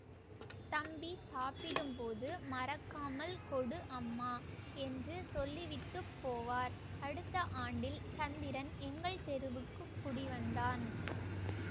தம்பி சாப்பிடும்போது மறக்காமல் கொடு அம்மா என்று சொல்லிவிட்டுப்போவார் அடுத்த ஆண்டில் சந்திரன் எங்கள் தெருவுக்குக் குடிவந்தான்